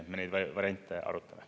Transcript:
Me neid variante arutame.